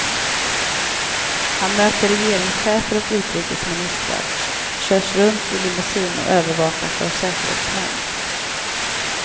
Han möter regeringschefer och utrikesministrar, körs runt i limousine och övervakas av säkerhetsmän.